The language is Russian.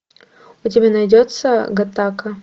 у тебя найдется гаттака